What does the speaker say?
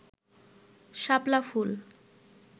শাপলা ফুল